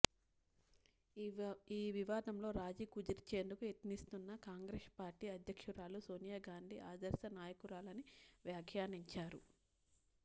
ఈ వివాదంలో రాజ కుదిర్చేందుకు యత్నిస్తున్న కాంగ్రెస్ పార్టీ అధ్యక్షురాలు సోనియాగాంధీ ఆదర్శ నాయకురాలని వ్యాఖ్యానించారు